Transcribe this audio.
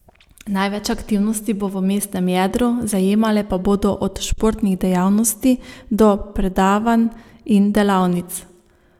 Največ aktivnosti bo v mestnem jedru, zajemale pa bodo od športnih dejavnosti do predavanj in delavnic.